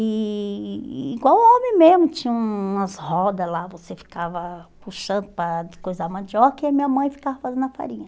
E igual homem mesmo, tinha umas rodas lá, você ficava puxando para descoisar a mandioca e a minha mãe ficava fazendo a farinha.